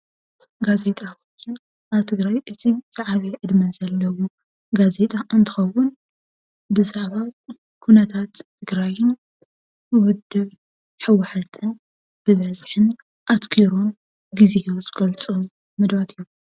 ጋዜጣ ኣብ ትግራይ እቲ ዝዓበየ ዕድመ ዘለዎ ጋዜጣ እንትኸዉን ብዛዕባ ኩነታት ትግራይን ዉድብ ህወሓትን ብበዝሕን አትኪሩ ግዜኡ ዝገልፆም መደባት እዮም ።